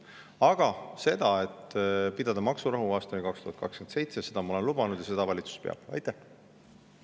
Aga seda, et tuleb pidada maksurahu aastani 2027, ma olen lubanud, ja seda valitsus peab.